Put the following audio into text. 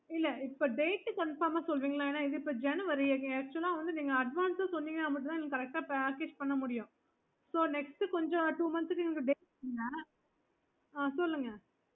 morning போல வரலாம்னு இருக்கோம் நாங்க நாங்க April April April ல April